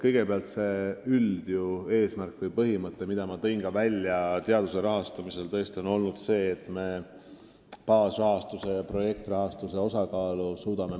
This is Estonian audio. Kõigepealt, see üldeesmärk, mida ma nimetasin teaduse rahastamisest rääkides, on tõesti see, et me suudame baasrahastuse ja projektrahastuse osakaalu muuta.